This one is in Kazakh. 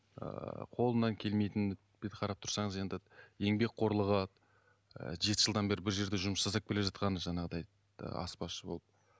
ыыы қолынан келмейтіні қарап тұрсаңыз енді еңбекқорлығы ыыы жеті жылдан бері бір жерде жұмыс жасап келе жатқаны жаңағыдай аспазшы болып